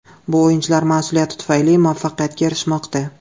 Bu o‘yinchilar mas’uliyati tufayli muvaffaqiyatga erishmoqda.